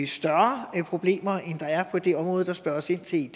større problemer end der er på det område der spørges ind til